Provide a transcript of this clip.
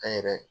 An yɛrɛ